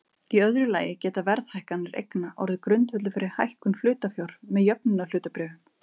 Í öðru lagi geta verðhækkanir eigna orðið grundvöllur fyrir hækkun hlutafjár með jöfnunarhlutabréfum.